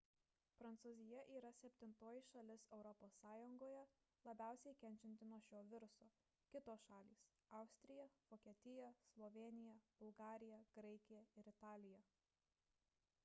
prancūzija yra septintoji šalis europos sąjungoje labiausiai kenčianti nuo šio viruso kitos šalys – austrija vokietija slovėnija bulgarija graikija ir italija